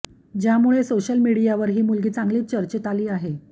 ज्यामुळे सोशल मीडियावर ही मुलगी चांगलीच चर्चेत आली आहे